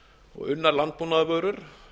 og unnar landbúnaðarvörur